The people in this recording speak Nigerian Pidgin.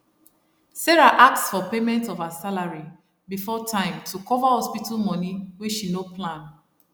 sarah ask for payment of her salary before time to cover hospital money wey she no plan